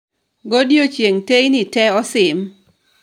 godiechieng' teyni te osim